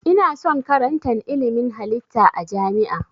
Ina son karatan ilmin halitta a jami'a